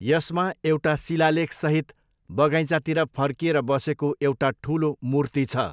यसमा एउटा शिलालेखसहित बगैँचातिर फर्किएर बसेको एउटा ठुलो मूर्ति छ।